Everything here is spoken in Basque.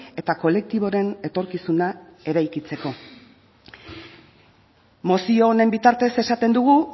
eta kolektiboren etorkizuna eraikitzeko mozio honen bitartez esaten dugu